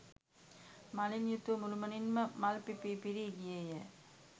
මලින් යුතුව මුළුමනින් ම මල් පිපී පිරී ගියේ ය.